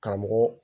Karamɔgɔ